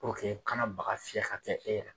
kana baga fiyɛ k'a kɛ e la.